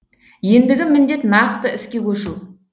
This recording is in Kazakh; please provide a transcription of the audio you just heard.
ендігі міндет нақты іске көшу